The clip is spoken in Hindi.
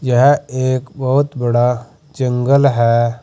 यह एक बहोत बड़ा जंगल है।